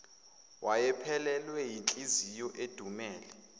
wayephelelwe yinhliziyo edumele